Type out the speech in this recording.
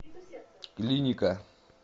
клиника